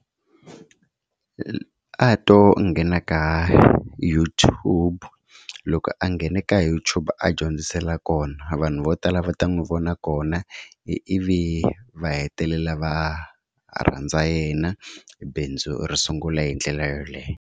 A to nghena ka YouTube loko a nghena ka YouTube a dyondzisela kona vanhu vo tala va ta n'wi vona kona ivi va hetelela va rhandza yena bindzu ri sungula hi ndlela yoleyo.